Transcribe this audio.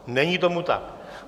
Není tomu tak.